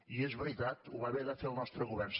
i és veritat ho va haver de fer el nostre govern